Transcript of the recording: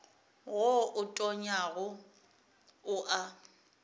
wo o tonyago o a